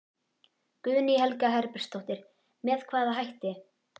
Guðný Helga Herbertsdóttir: Með hvaða hætti?